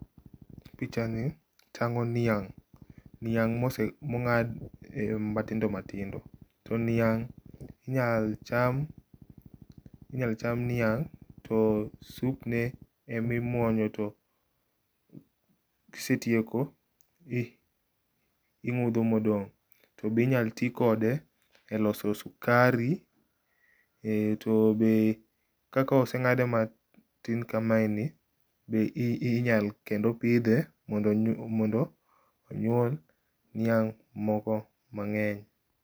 Pichani tango' niang', niang' monga'di matindo matindo, to niang' inyal cham inyalo cham niang' to supne emimunyo to kisetieko to ingu'tho modong' to be inyal ti kode e loso sukari to be kakosenga'do matin kamae ni be inyal kendo pithe mondo onyuol niang' moko mange'ny.